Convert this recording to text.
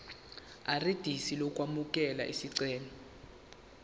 irisidi lokwamukela isicelo